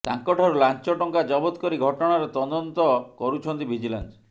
ତାଙ୍କ ଠାରୁ ଲାଞ୍ଚ ଟଙ୍କା ଜବତ କରି ଘଟଣାର ତଦନ୍ତ କରୁଛନ୍ତି ଭିଜିଲାନ୍ସ